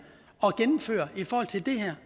at gennemføre i forhold til det her